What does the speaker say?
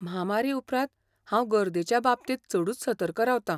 म्हामारी उपरांत हांव गर्देच्या बाबतींत चडूच सतर्क रावता.